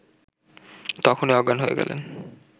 তখনই অজ্ঞান হয়ে গেলেন